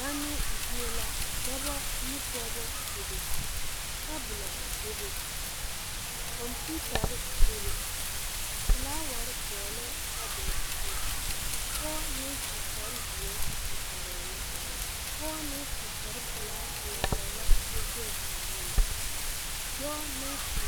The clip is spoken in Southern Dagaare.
Zanoo zie la dɔbɔ ne pɔɔbɔ bebe tabolɔ bebe kɔmpiutarre bebe flaawarre dɔglɛɛ tabolɔ zu pɔɔ naŋ su kparezeɛ ire arɛɛ la pɔɔ naŋ su kparepelaa laara la kyɛ zege o nu dɔɔ naŋ su